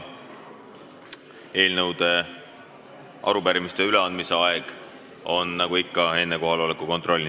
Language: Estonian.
Eelnõude ja arupärimiste üleandmise aeg on nagu ikka enne kohaloleku kontrolli.